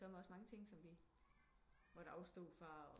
Der er sørme også mange ting vi måtte afstå fra